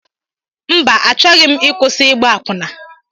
Mba Achọghị m ịkwụsị ịgba akwụna.